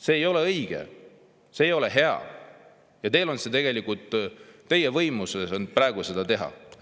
See ei ole õige, see ei ole hea ja tegelikult teie võimuses on praegu.